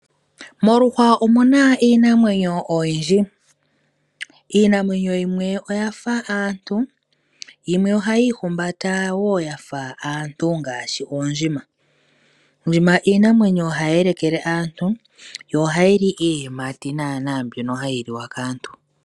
Moluhwa omu na iinamwenyo oyindji, iinamwenyo yimwe oya fa aantu yimwe oha yiihumbata wo yafa aantu ngaashi oondjima. Oondjima iinamwenyo hayi yelekele aantu dho ohadhi li iiyimati naana mbyono hayi liwa kaantu.